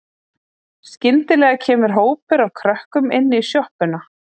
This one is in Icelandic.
Skyndilega kemur hópur af krökkum inn í sjoppuna.